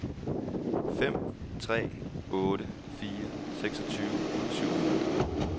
fem tre otte fire seksogtyve syv hundrede